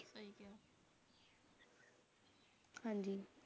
ਹਾਂਜੀ